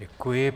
Děkuji.